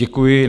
Děkuji.